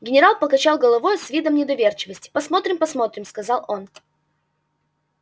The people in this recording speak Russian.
генерал покачал головою с видом недоверчивости посмотрим посмотрим сказал он